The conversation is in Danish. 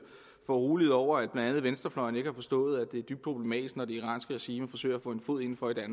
foruroliget over at blandt andet venstrefløjen ikke har forstået at det er dybt problematisk når det iranske regime forsøger at få en fod inden for i